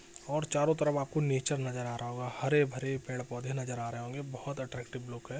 --और चारो तरफ आप को नेचर नजर आ रहा होगा | हरे-भरे पेड़-पोधो नजर आ रहे होंगे बोहोत अट्रक्टिवे लुक है।